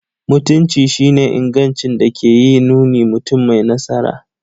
Mutunci shi ne ingancin da ke yin nuni mutum mai nasara.